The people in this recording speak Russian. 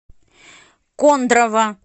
кондрово